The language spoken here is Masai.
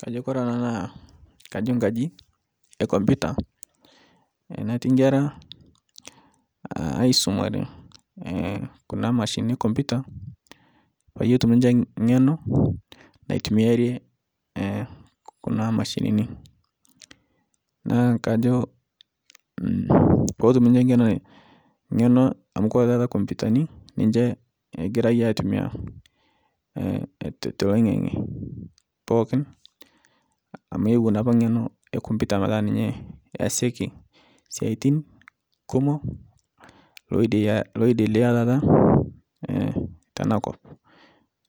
Kajo Kore ana kajo nkaji ekomputa natii nkera aisomare kuna mashinini komputa payie itum niche ng'eno natumiarie kuna mashinini naakajo petum niche ng'eno amu kore tata komputani niche egirai atumia toloingang'e pookin amu ewuo naapa ng'eno ekomputa petaa ninye easaki siatin kumo loidelea tata tenakop